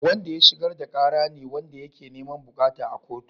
Wanda ya shigar da kara ne wanda yake niman bukata a kotu.